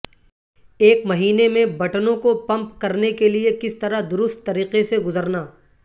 ایک مہینے میں بٹنوں کو پمپ کرنے کے لئے کس طرح درست طریقے سے گزرنا